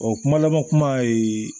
O kuma laban kuma ye